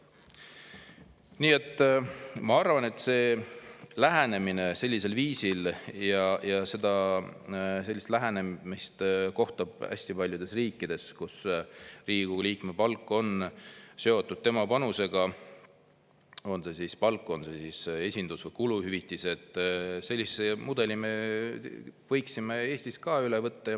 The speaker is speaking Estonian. Nii et ma arvan, et sellise mudeli – ja sellist lähenemist kohtab hästi paljudes riikides –, et Riigikogu liikme palk on seotud tema panusega, on see siis palk, on see esindus‑ või kuluhüvitised, me võiksime Eestis ka üle võtta.